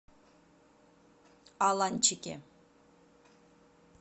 аланчике